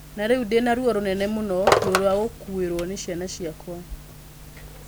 Na rĩu ndĩ na ruo rũnene mũno: ruo rwa gũkuĩrũo nĩ ciana ciakwa.'